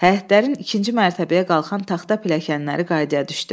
Həyətlərin ikinci mərtəbəyə qalxan taxta pilləkənləri qaydaya düşdü.